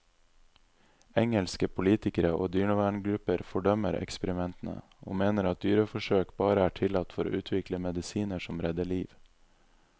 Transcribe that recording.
Engelske politikere og dyreverngrupper fordømmer eksperimentene, og mener at dyreforsøk bare er tillatt for å utvikle medisiner som redder liv.